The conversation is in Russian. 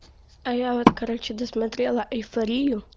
а я вот короче досмотрела эйфорию